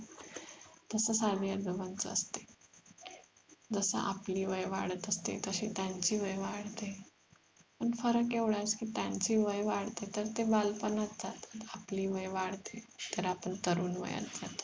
तसंच आजी आजोबांच असते जसं आपली वय वाढत असते तशी त्यांची वय वाढते पण फरक एवढाच कि त्यांची वय वाढतात तर ते बालपणात जातात आपली वय वाढते तर आपण तरुणवयात जातो